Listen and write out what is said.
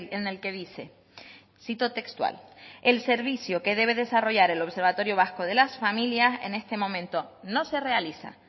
en el que dice cito textual el servicio que debe desarrollar el observatorio vasco de las familias en este momento no se realiza